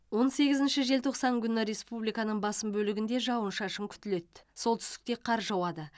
он сегізінші желтоқсан күні республиканың басым бөлігінде жауын шашын күтіледі солтүстікте қар жауады